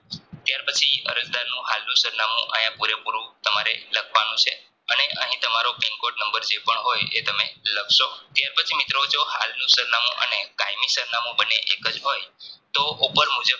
ત્યાર પછી અરજદારનું હાલનું સરનામુંઆયા પુરે પૂરું તમારે લખવાનું છે અને અહીં pin code નંબર કઈ પણ હોય એ તમે લખશો તે પછી મિત્રો હાલનું સરનામું અને કાયમી સરનામું એકજ હોય તો ઉપર મુજબ